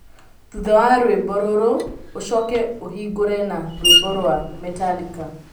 thutha wa rwĩmbo rũrũ, ũcoke ũhingũre na rwĩmbo rwa Metallica